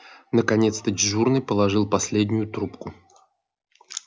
наконец-то дежурный положил последнюю трубку